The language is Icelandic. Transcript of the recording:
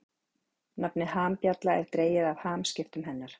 Nafnið hambjalla er dregið af hamskiptum hennar.